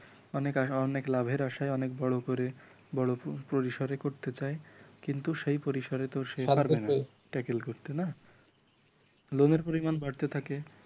অনেক আশা অনেক লাভের আশায় অনেক বড় করে বড় পরিসরে করতে যায় কিন্তু সেই পরিসরে তো সে পারবেনা ট্যাকেল করতে না লোনের পরিমাণ বাড়তে থাকে